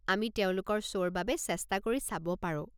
আমি তেওঁলোকৰ শ্ব'ৰ বাবে চেষ্টা কৰি চাব পাৰো।